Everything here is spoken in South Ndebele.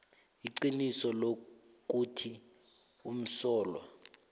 iqiniso lokuthi umsolwa